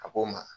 A k'o ma